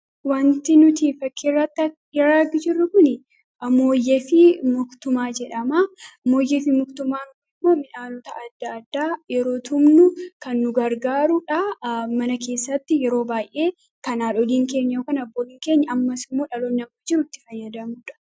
Suuraan kun mooyyee fi mogdumaa agarsiisa. Meeshaan kun midhaan garaa garaa ittiin tumuuf kan gargaaru yoo ta'u, aadaa keenya keessatti haadholii fi abboolii keenyarraa kaasee hanga harraatti tajaajilaa jira.